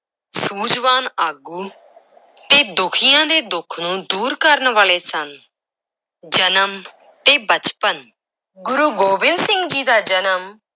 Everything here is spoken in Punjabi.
ਸੂਝਵਾਨ ਆਗੂ ਤੇ ਦੁਖੀਆਂ ਦੇ ਦੁੱਖ ਨੂੰ ਦੂਰ ਕਰਨ ਵਾਲੇ ਸਨ, ਜਨਮ ਤੇ ਬਚਪਨ, ਗੁਰੂ ਗੋਬਿੰਦ ਸਿੰਘ ਜੀ ਦਾ ਜਨਮ